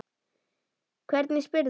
Hvernig spyrðu!